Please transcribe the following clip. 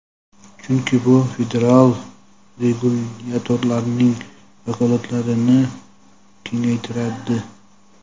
chunki bu federal regulyatorlarning vakolatlarini kengaytiradi.